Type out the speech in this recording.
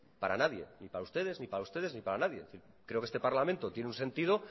para nadie ni para ustedes ni para ustedes ni para nadie es decir yo creo que este parlamento tiene un sentido